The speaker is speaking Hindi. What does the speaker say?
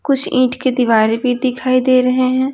कुछ ईंट के दीवार भी दिखाई दे रहे हैं।